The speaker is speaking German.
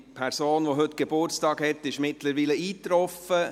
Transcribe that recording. Die Person, die heute Geburtstag hat, ist mittlerweile eingetroffen.